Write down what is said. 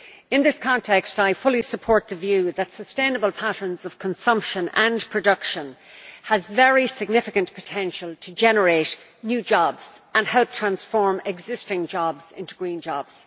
In this context I fully support the view that sustainable patterns of consumption and production have a very significant potential to generate new jobs and help transform existing jobs into green jobs.